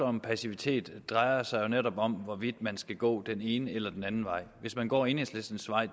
om passivitet drejer sig netop om hvorvidt man skal gå den ene eller den anden vej hvis man går enhedslistens vej